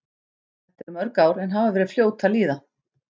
Þetta eru mörg ár en hafa verið fljót að líða.